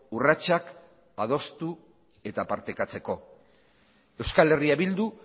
urratsak adostu eta partekatzeko eh bildu